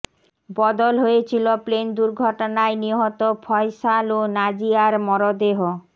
বদল হয়েছিলো প্লেন দুর্ঘটনায় নিহত ফয়সাল ও নাজিয়ার মরদেহ